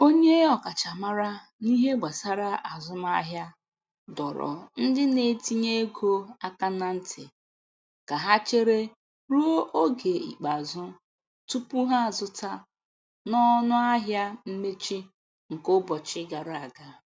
Onye ọkachamara n'ihe gbasara azụmahịa dọrọ ndị na-etinye ego aka na ntị ka ha chere ruo oge ikpeazụ tupu ha azụta na ọnụahịa mmechi nke ụbọchị gara aga.